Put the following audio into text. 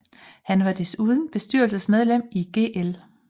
Han var desuden bestyrelsesmedlem i Gl